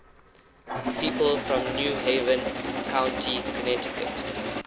people from new haven county connecticut